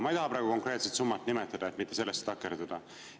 Ma ei taha praegu konkreetset summat nimetada, et sellesse mitte takerduda.